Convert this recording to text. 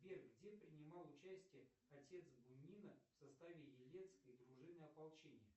сбер где принимал участие отец бунина в составе елецкой дружины ополчения